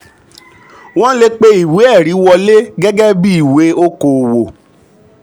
wọn le pe ìwé-ẹ̀rí um wọlé gẹ́gẹ́ bí ìwé okoòwò.